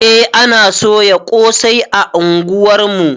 Eh ana soya ƙosai a unguwar mu